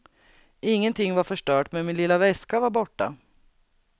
Ingenting var förstört men min lilla väska var borta.